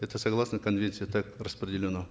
это согласно конвенции так распределено